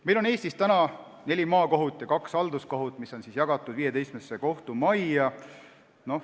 Meil on Eestis neli maakohut ja kaks halduskohut, mis on jaotatud 15 kohtumaja vahel.